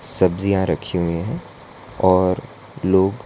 सब्जियां रखी हुई है और लोग--